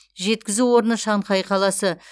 жеткізу орны шанхай қаласы